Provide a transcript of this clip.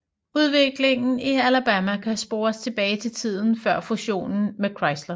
Udviklingen i Alabama kan spores tilbage til tiden før fusionen med Chrysler